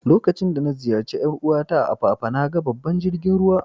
Lokacin da na ziyace yar uwa ta a'Apapa, na gan babban jirigin ruwa.